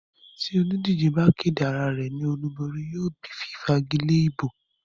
tí olùdíje bá kéde arárẹ̀ ní olúborí, yóò bí fífagilé ìbò.